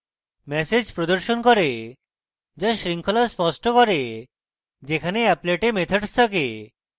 এবং ম্যাসেজ প্রদর্শন করে যা শৃঙ্খলা স্পষ্ট করে যেখানে অ্যাপলেটে methods রয়েছে